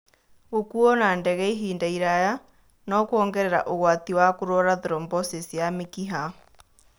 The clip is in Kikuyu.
Gũkuuo na ndege ihinda iraya no kũongerera ũgwati wa kũrũara thrombosis ya mĩkiha.